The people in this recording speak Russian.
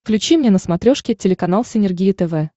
включи мне на смотрешке телеканал синергия тв